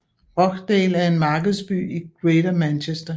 Rochdale er en markedsby i Greater Manchester